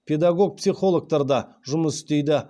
педагог психологтар да жұмыс істейді